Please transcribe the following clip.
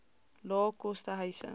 lae koste huise